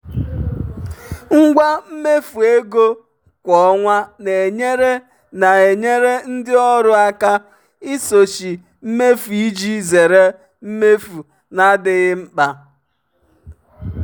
ngwa mmefu ego kwa ọnwa na-enyere na-enyere ndị ọrụ aka isochi mmefu iji zere mmefu na-adịghị mkpa.